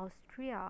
austria